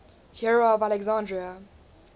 hero of alexandria